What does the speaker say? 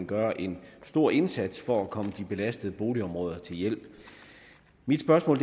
gøre en stor indsats for at komme de belastede boligområder til hjælp mit spørgsmål